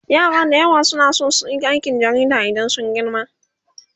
yara da yawa na San suyi aikin jarida In sun girma